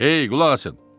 Hey, qulaq asın!